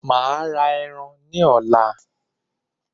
Màá ra ẹran ní ọ̀la